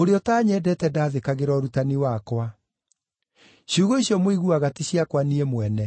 Ũrĩa ũtanyendete ndathĩkagĩra ũrutani wakwa. Ciugo icio mũiguaga ti ciakwa niĩ mwene;